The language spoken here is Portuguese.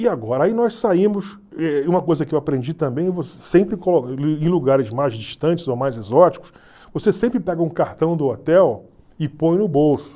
E agora, aí nós saímos, uma coisa que eu aprendi também, sempre em lugares mais distantes ou mais exóticos, você sempre pega um cartão do hotel e põe no bolso.